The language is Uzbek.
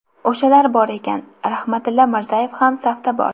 O‘shalar bor ekan, Rahmatilla Mirzayev ham safda bor”.